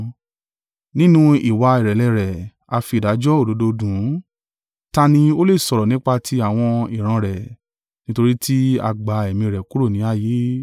Nínú ìwà ìrẹ̀lẹ̀ rẹ̀ a fi ìdájọ́ òdodo dùn ún. Ta ni ó le sọ̀rọ̀ nípa ti àwọn ìran rẹ̀? Nítorí tí a gba ẹ̀mí rẹ̀ kúrò ní ayé.”